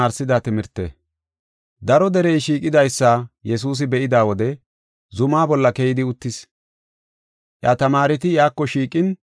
Daro derey shiiqidaysa Yesuusi be7ida wode zumaa bolla keyidi uttis. Iya tamaareti iyako shiiqin,